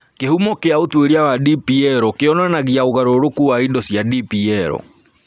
Kĩhumo kĩa ũtuĩria wa DPL kĩonanagia ũgarũrũku wa indo cia DPL.